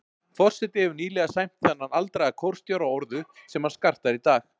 Forseti hefur nýlega sæmt þennan aldraða kórstjóra orðu, sem hann skartar í dag.